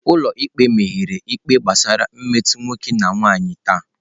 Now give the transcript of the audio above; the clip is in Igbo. Ụlọ ikpe mepere ikpe gbasara mmetọ nwoke na nwanyị taa.